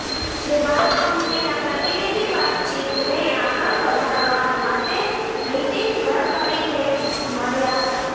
જે બાદ કંપનીના પ્રતિનિધિ વાતચીતને આગળ વધારવા માટે નિતીન ગડકરીને મળ્યાં હતાં